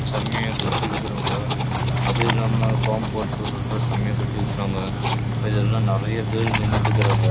செமையா காம்பௌண்ட் செவுரு லாம் நல்ல கட்டி இருகாங்க